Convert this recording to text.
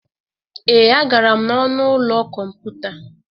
Ee, agara m n'ọnụ ụlọ kọmputa.